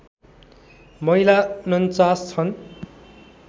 महिला ४९ छन्